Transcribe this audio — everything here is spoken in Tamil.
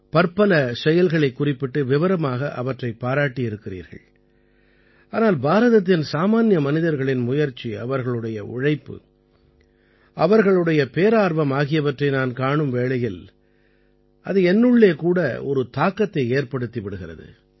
பற்பல செயல்களைக் குறிப்பிட்டு விவரமாக அவற்றைப் பாராட்டியிருக்கிறீர்கள் ஆனால் பாரதத்தின் சாமான்ய மனிதர்களின் முயற்சி அவர்களுடைய உழைப்பு அவர்களுடைய பேரார்வம் ஆகியவற்றை நான் காணும் வேளையில் அது என்னுள்ளே கூட ஒரு தாக்கத்தை ஏற்படுத்தி விடுகிறது